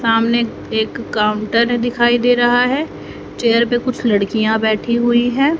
सामने एक काउंटर दिखाई दे रहा है चेयर पे कुछ लड़कियां बैठी हुई है।